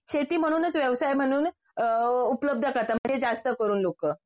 शेती म्हणूनच व्यवसाय म्हणूनच अ उपलब्ध करतात म्हणजे जास्त करून लोकं